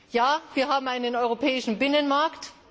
Ja, wir haben einen europäischen Binnenmarkt.